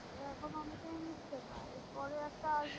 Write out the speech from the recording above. এ এখনও অনেকেই নেচে না এর পরে একটা আসবে।